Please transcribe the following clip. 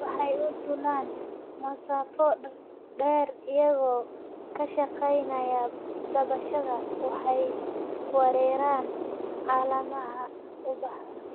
Waxay u duulaan masaafo dheer iyagoo kaashanaya dabaysha. Waxay weeraraan caleemaha, ubaxa,